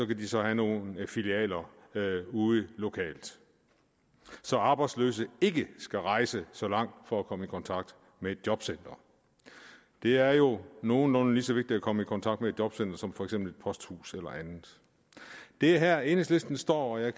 kan så have nogle filialer ude lokalt så arbejdsløse ikke skal rejse så langt for at komme i kontakt med et jobcenter det er jo nogenlunde lige så vigtigt at komme i kontakt med et jobcenter som for eksempel et posthus eller andet det er her enhedslisten står og jeg